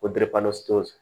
O